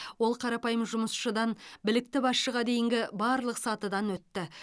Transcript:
ол қарапайым жұмысшыдан білікті басшыға дейінгі барлық сатыдан өтті